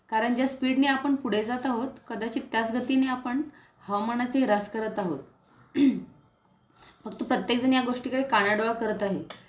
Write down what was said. कारण ज्या स्पीडने आपण पुढे जात आहोत कदाचित त्याच गतीने आपण हवामानाचे ही ह्रास करत आहोत, फक्त प्रत्येक जण या गोष्टीकडे कानाडोळा करत आहे